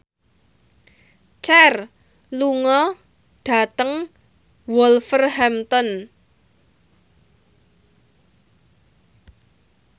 Cher lunga dhateng Wolverhampton